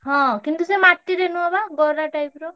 ହଁ କିନ୍ତୁ ସେ ମା~ ଟିରେ~ ନୁହଁ ବା ଗରା type ର।